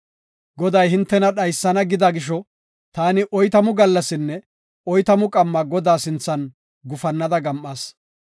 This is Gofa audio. Goday hintena dhaysana gida gisho, taani oytamu gallasinne oytamu qamma Godaa sinthan gufannada gam7as.